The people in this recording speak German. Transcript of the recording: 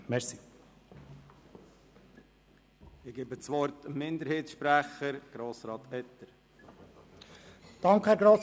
Für die Kommissionsminderheit hat Grossrat Etter das Wort.